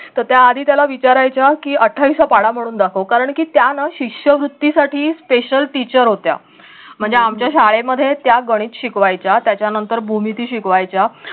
तर त्या आधी त्याला विचारायच्या की अठ्ठावीसचा पाढा म्हणून दाखव कारंकी त्या ना शिष्यवृत्ती साठी special teacher होत्या. म्हणजे आमच्या शाळेमध्ये त्या गणित शिकवायच्य. त्याच्यानंतर भूमिती शिकवायच्या.